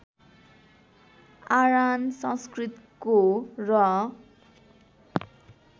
आरान् संस्कृतको र